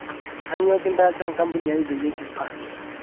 kainyoo kintaasa enkampuni aai peyie bimba